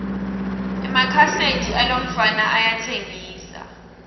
emakhaseti alomfana ayatsengisa